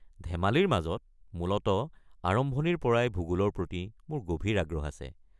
ধেমালিৰ মাজত, মূলতঃ আৰম্ভণিৰ পৰাই ভূগোলৰ প্ৰতি মোৰ গভীৰ আগ্ৰহ আছে।